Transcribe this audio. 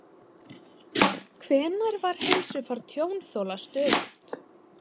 Hvenær var heilsufar tjónþola stöðugt?